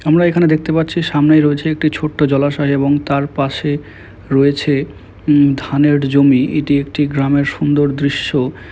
আমরা এখানে দেখতে পাচ্ছি সামনেই রয়েছে একটি ছোট্ট জলাশয় এবং তার পাশে রয়েছে ধানের জমি এটি একটি গ্রামের সুন্দর দৃশ্য।